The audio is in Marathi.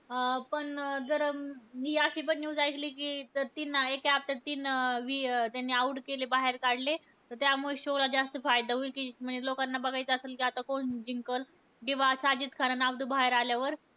अं पण जर मी अशी पण news ऐकली, कि ते तीन आहे, ते आता तीन ते out केले त्यांनी बाहेर काढले. तर त्यामुळे show ला जास्त फायदा होईल. कि म्हणजे लोकांना बघायचं असेल, कि आता कोण जिंकलं. किंवा साजिद खान आणि अब्दू बाहेर आल्यावर.